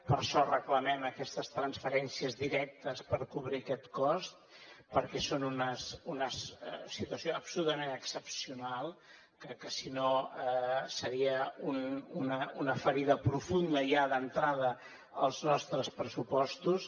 per això reclamem aquestes transferències directes per cobrir aquest cost perquè és una situació absolutament excepcional que si no seria una ferida profunda ja d’entrada als nostres pressupostos